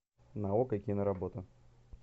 на окко киноработа